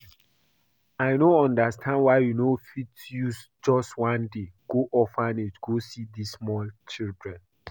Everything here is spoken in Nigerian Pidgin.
I no understand why you no fit use just one day go orphanage go see dis small children